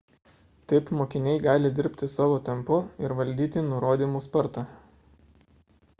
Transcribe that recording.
taip mokiniai gali dirbti savo tempu ir valdyti nurodymų spartą